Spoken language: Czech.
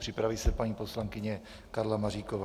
Připraví se paní poslankyně Karla Maříková.